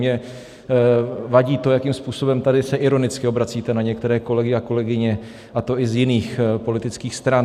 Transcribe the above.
Mně vadí to, jakým způsobem tady se ironicky obracíte na některé kolegy a kolegyně, a to i z jiných politických stran.